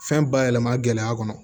Fɛn bayɛlɛma gɛlɛya kɔnɔ